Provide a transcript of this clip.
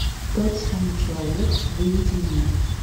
тот самый человек выведи мне